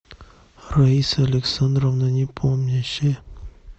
раиса александровна непомнящая